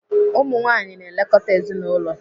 Ụmụnwaanyị na-elekọta ezinaụlọ.